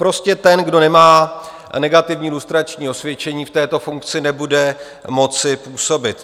Prostě ten, kdo nemá negativní lustrační osvědčení, v této funkci nebude moci působit.